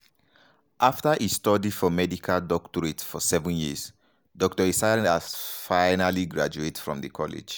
afta e study for di medical doctorate for seven years dr esayas finally graduate from di college.